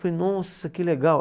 Falei, nossa, que legal.